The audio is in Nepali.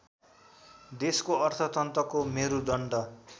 देशको अर्थतन्त्रको मेरुदण्ड